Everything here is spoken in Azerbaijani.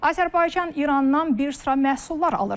Azərbaycan İrandan bir sıra məhsullar alır.